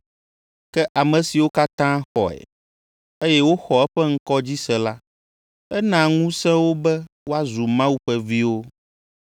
Ke ame siwo katã xɔe, eye woxɔ eƒe ŋkɔ dzi se la, ena ŋusẽ wo be woazu Mawu ƒe viwo,